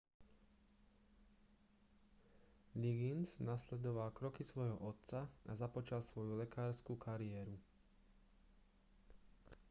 liggins nasledoval kroky svojho otca a započal svoju lekársku kariéru